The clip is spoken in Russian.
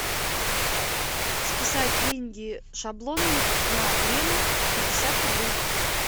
списать деньги шаблоном на лена пятьдесят рублей